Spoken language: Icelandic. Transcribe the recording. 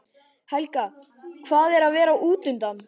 Helga: Hvað er að vera útundan?